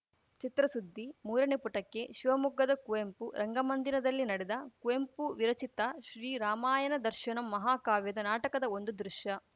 ಚಿತ್ರಸುದ್ದಿ ಮೂರನೇ ಪುಟಕ್ಕೆ ಶಿವಮೊಗ್ಗದ ಕುವೆಂಪು ರಂಗಮಂದಿರದಲ್ಲಿ ನಡೆದ ಕುವೆಂಪು ವಿರಚಿತ ಶ್ರೀ ರಾಮಾಯಣ ದರ್ಶನಂ ಮಹಾಕಾವ್ಯದ ನಾಟಕದ ಒಂದು ದೃಶ್ಯ